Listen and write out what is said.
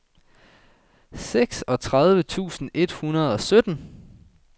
seksogtredive tusind et hundrede og sytten